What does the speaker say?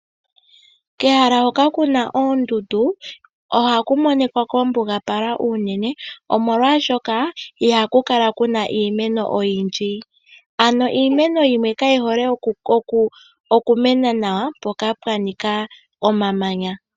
Kehala hoka kuna oondundu ohaku monikwa kwambugapala uunene omolwaashoka ihaku kala kuna iimeno oyindji. Iimeni yimwe kayi hole okumena nawa mpoka pwanika omamanya.